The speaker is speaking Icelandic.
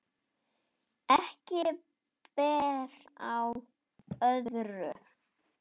Ekki ber á öðru